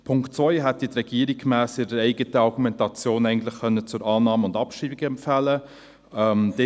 Den Punkt 2 hätte die Regierung gemäss ihrer eigenen Argumentation eigentlich zur Annahme und Abschreibung empfehlen können.